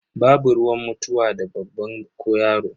Babu ruwan mutuwa da babba ko yaro.